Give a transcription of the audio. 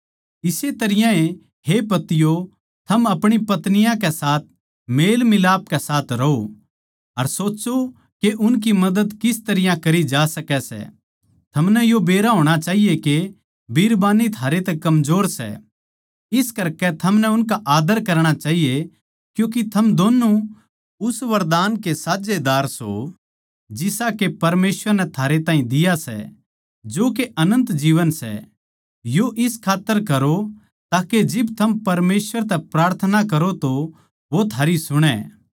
इस्से त रियां ए हे पतियों थम अपणी पत्नियाँकै साथ मेलमिलाप कै साथ रहों अर सोच्चों के उनकी मदद किस तरियां करी जा सकै सै थमनै यो बेरा होणा चाहिए के बिरबान्नी थारे तै कमजोर सै इस करकै थमनै उनका आदर करणा चाहिए क्यूँके थम दोन्नु उस वरदान के साझेदार सों जिसा के परमेसवर नै थारे ताहीं दिया सै जो के अनन्त जीवन सै यो इस खात्तर करो ताके जिब थम परमेसवर तै प्रार्थना करो तो वो थारी सुणै